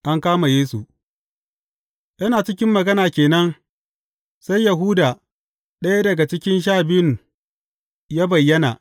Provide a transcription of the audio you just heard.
An kama Yesu Yana cikin magana ke nan, sai Yahuda, ɗaya daga cikin Sha Biyun ya bayyana.